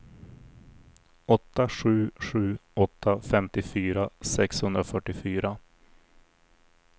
åtta sju sju åtta femtiofyra sexhundrafyrtiofyra